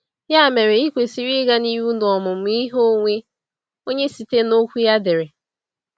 Ya mere, ị kwesịrị ịga n’ihu n’omụmụ ihe onwe onye site n’Okwu ya edere.